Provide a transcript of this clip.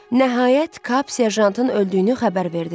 Nəhayət Kap serjantın öldüyünü xəbər verdi.